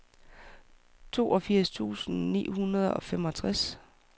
toogfirs tusind ni hundrede og femogtres